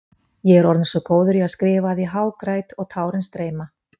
Ég er orðinn svo góður í að skrifa að ég hágræt og tárin streyma.